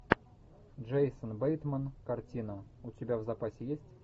джейсон бейтман картина у тебя в запасе есть